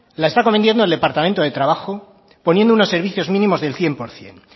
la está cometiendo el departamento de trabajo poniendo unos servicios mínimos del cien por ciento